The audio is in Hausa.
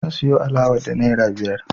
Zan siyo alawa da naira biyar